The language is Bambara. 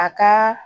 A ka